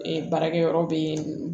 baarakɛ yɔrɔ bɛ yen